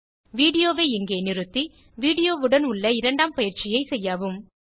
video வை இங்கே நிறுத்தி வீடியோ வுடன் உள்ள இரண்டாம் பயிற்சியை செய்யவும்